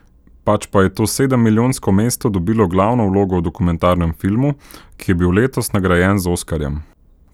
Pač pa je to sedemmilijonsko mesto dobilo glavno vlogo v dokumentarnem filmu, ki je bil letos nagrajen z oskarjem.